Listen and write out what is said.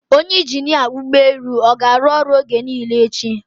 Onye injinia ụgbọ elu ọ ga-arụ ọrụ oge niile echi?